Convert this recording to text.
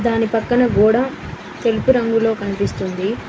దాని పక్కన గోడ తెలుపు రంగులో కనిపిస్తుంది.